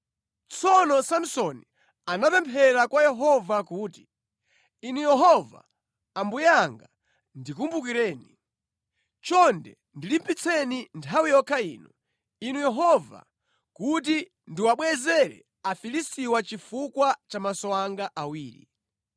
Tsono Samsoni anapemphera kwa Yehova kuti, “Inu Yehova Ambuye anga, ndikumbukireni. Chonde ndilimbitseni nthawi yokha ino, inu Yehova, kuti ndiwabwezere Afilistiwa chifukwa cha maso anga awiri.”